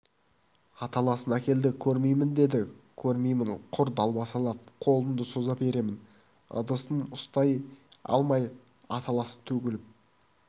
аталасын әкелді көрмеймін деді көрмеймін құр далбасалап қолымды соза беремін ыдысын ұстай алмай аталасы төгіліп